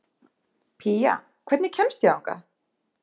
Pía, hvernig kemst ég þangað?